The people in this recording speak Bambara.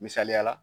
Misaliyala